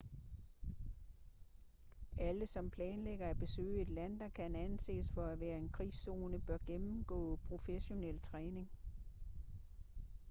alle som planlægger at besøge et land der kan anses for at være en krigszone bør gennemgå professionel træning